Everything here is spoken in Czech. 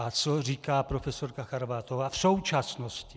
A co říká profesorka Charvátová v současnosti?